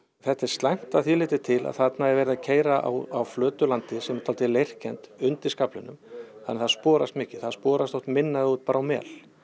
þetta er slæmt að því leytinu til að þarna er verið að keyra á flötu landi sem er dálítið leirkennt undir skaflinum þannig að það sporast mikið það sporast oft minna ef þú ert bara á mel